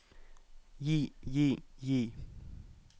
gi gi gi